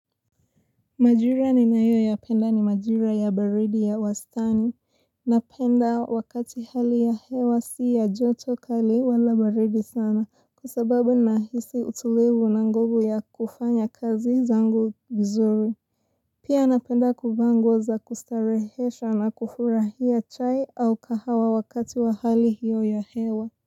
Majira ninayoyapenda ni majira ya baridi ya wastani. Napenda wakati hali ya hewa si ya joto kali wala baridi sana kwa sababu nahisi utulivu na nguvu ya kufanya kazi zangu vizuri. Pia napenda kuvaa nguo za kustarehesha na kufurahia chai au kahawa wakati wa hali hiyo ya hewa.